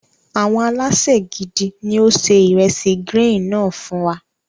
Àwọn alésè gidi ní ó se ìresì gírín-ìn náà fún.